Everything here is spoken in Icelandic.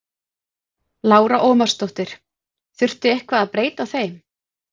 Lára Ómarsdóttir: Þurfti eitthvað að breyta þeim?